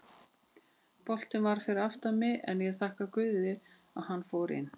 Boltinn var fyrir aftan mig en ég þakka guði að hann fór inn.